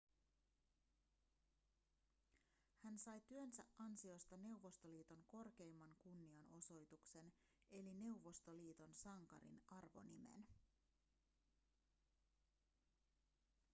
hän sai työnsä ansiosta neuvostoliiton korkeimman kunnianosoituksen eli neuvostoliiton sankarin arvonimen